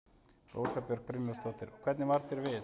Rósa Björk Brynjólfsdóttir: Og hvernig varð þér við?